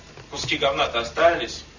куски говна то остались